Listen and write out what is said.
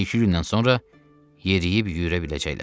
Bir-iki gündən sonra yeriyib-yüyürə biləcəklər.